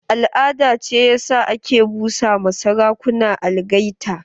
Al'ada ce ya sa ake busa ma sarakuna algaita.